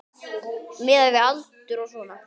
Miðað við aldur og svona.